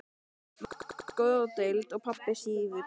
Mamma er á geðdeild og pabbi sífullur.